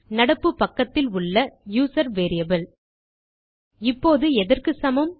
நடப்பு பக்கத்திலுள்ள user variable இப்போது எதற்கு சமம்